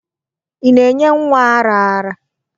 Ị na-enye nwa ara ara?